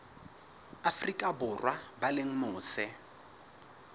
afrika borwa ba leng mose